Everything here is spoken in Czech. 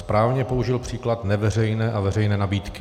Správně použil příklad neveřejné a veřejné nabídky.